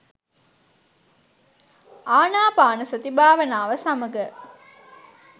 ආනාපානසති භාවනාව සමග